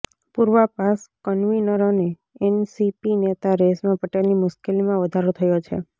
પૂર્વ પાસ કન્વીનર અને એનસીપી નેતા રેશમા પટેલની મુશ્કેલીમાં વધારો થયો છે